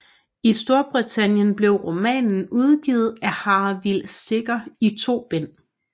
I Storbritannien blev romanen udgivet af Harvill Secker i to bind